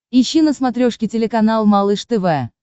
ищи на смотрешке телеканал малыш тв